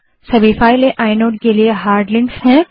सभी files inode के लिए हार्ड लिंक्स हैं